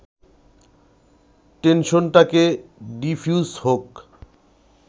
টেনশনটাকে defuse হোক